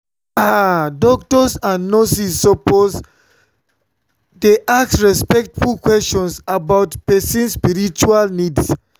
ah doctors and nurses suppose nurses suppose dey ask respectful questions about person spiritual needs.